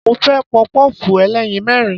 Mo fẹ́ Pọpọ́ọ̀fù ẹlẹ́yin mẹ́rin.